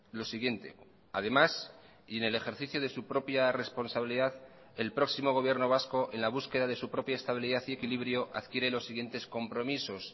lo siguiente además y en el ejercicio de su propia responsabilidad el próximo gobierno vasco en la búsqueda de su propia estabilidad y equilibrio adquiere los siguientes compromisos